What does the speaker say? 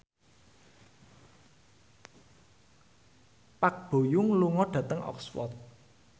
Park Bo Yung lunga dhateng Oxford